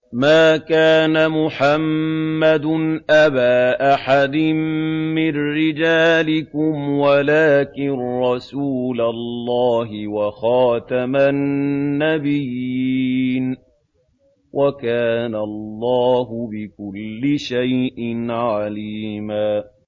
مَّا كَانَ مُحَمَّدٌ أَبَا أَحَدٍ مِّن رِّجَالِكُمْ وَلَٰكِن رَّسُولَ اللَّهِ وَخَاتَمَ النَّبِيِّينَ ۗ وَكَانَ اللَّهُ بِكُلِّ شَيْءٍ عَلِيمًا